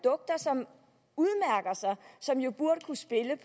og som jo burde kunne spille